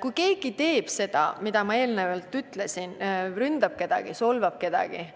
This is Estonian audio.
Kui keegi teeb seda, mida ma eelnevalt ütlesin – verbaalselt ründab, solvab kedagi –,